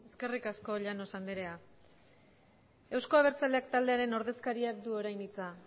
eskerrik asko llanos andrea euzko abertzaleak taldearen ordezkariak du orain hitza